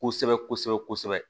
Kosɛbɛ kosɛbɛ kosɛbɛ